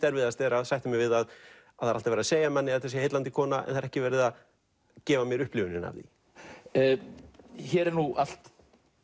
erfiðast að sætta sig við að það er alltaf verið að segja að þetta sé heillandi kona en ekki verið að gefa mér upplifunina hér er allt